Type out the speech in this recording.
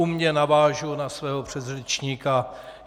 Umě navážu na svého předřečníka.